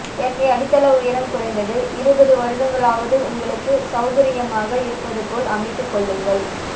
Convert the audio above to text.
எனவே அடித்தள உயரம் குறைந்தது இருபது வருடங்களாவது உங்களுக்குச் சவுகரியமாக இருப்பதுபோல் அமைத்துக்கொள்ளுங்கள்